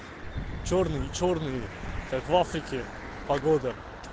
чёрный чёрный как в африке погода